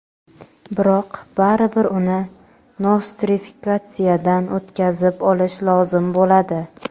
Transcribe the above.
Biroq baribir uni nostrifikatsiyadan o‘tkazib olish lozim bo‘ladi.